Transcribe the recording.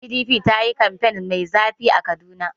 PDP ta yi kamfen mai zafi a Kaduna.